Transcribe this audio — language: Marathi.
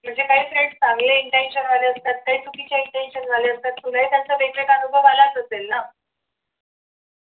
म्हणजे काही friends चांगले intention वाले असतात तर काही चुकीच्या intention वाले असतात तुलाही त्यांचा वेगवेगळा अनुभव आलाच असेल ना